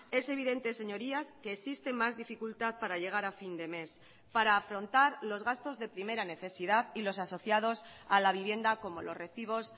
es evidente señorías que existe más dificultad para llegar a fin de mes para afrontar los gastos de primera necesidad y los asociados a la vivienda como los recibos